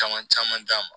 Caman caman d'a ma